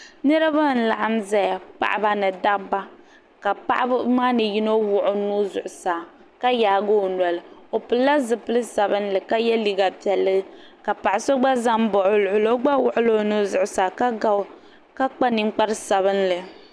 Niriba n laɣim zaya paɣaba ni dabba ka paɣaba maa ni yino wuɣi o nuu zuɣusaa ka yaagi o noli o pilila zipil'sabinli ka ye liiga piɛlli ka paɣa so gba zambaɣi o luɣuli o gba wuɣila o nuhi zuɣusaa ka kpa ninkpari sabinli.